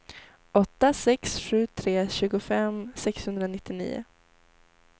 åtta sex sju tre tjugofem sexhundranittionio